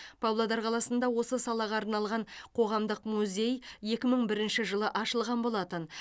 павлодар қаласында осы салаға арналған қоғамдық музей екі мың бірінші жылы ашылған болатын